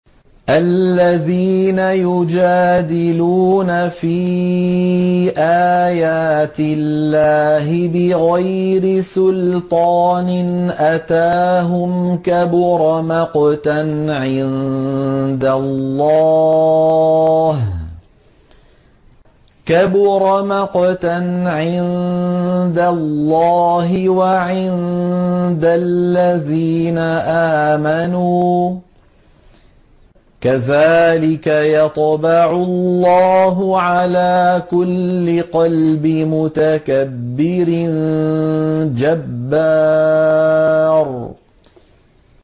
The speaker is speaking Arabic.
الَّذِينَ يُجَادِلُونَ فِي آيَاتِ اللَّهِ بِغَيْرِ سُلْطَانٍ أَتَاهُمْ ۖ كَبُرَ مَقْتًا عِندَ اللَّهِ وَعِندَ الَّذِينَ آمَنُوا ۚ كَذَٰلِكَ يَطْبَعُ اللَّهُ عَلَىٰ كُلِّ قَلْبِ مُتَكَبِّرٍ جَبَّارٍ